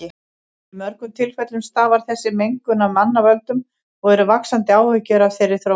Í mörgum tilfellum stafar þessi mengun af mannavöldum og eru vaxandi áhyggjur af þeirri þróun.